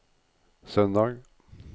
søndag